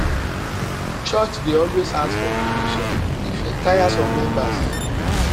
church dey always ask for donations e fit tire some members